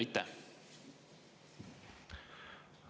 Aitäh!